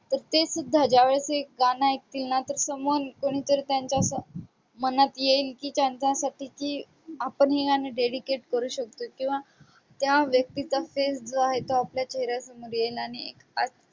तर ते सुद्धा ज्यावेळेस हे गाणं ऐकतील ना someone कोणीतरी मनात येईल की त्यांच्यासाठीची आपण हे गाणं dedicate करू शकतो किंवा त्या व्यक्तीचा face जो आहे तो आपल्या चेहऱ्यासमोर येणार